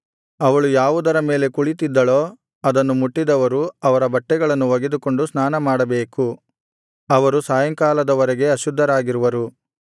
ಅವಳು ಯಾವುದರ ಮೇಲೆ ಕುಳಿತ್ತಿದ್ದಳೋ ಅದನ್ನು ಮುಟ್ಟಿದವರು ಅವರ ಬಟ್ಟೆಗಳನ್ನು ಒಗೆದುಕೊಂಡು ಸ್ನಾನಮಾಡಬೇಕು ಅವರು ಸಾಯಂಕಾಲದ ವರೆಗೆ ಅಶುದ್ಧರಾಗಿರುವರು